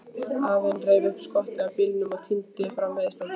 Afinn reif upp skottið á bílnum og tíndi fram veiðistangir.